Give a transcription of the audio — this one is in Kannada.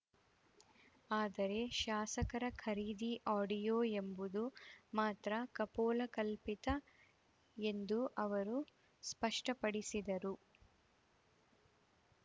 ಆದರೆ ಶಾಸಕರ ಖರೀದಿ ಆಡಿಯೋ ಎಂಬುದು ಮಾತ್ರ ಕಪೋಲಕಲ್ಪಿತ ಎಂದು ಅವರು ಸ್ಪಷ್ಟಪಡಿಸಿದರು